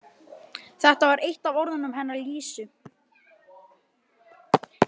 Þetta var eitt af orðunum hennar Lísu.